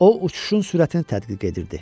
O uçuşun sürətini tədqiq edirdi.